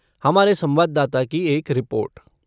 हमारे संवाददाता की एक रिपोर्ट